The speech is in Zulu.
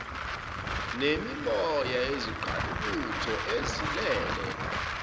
nemimoya yezingqalabutho ezilele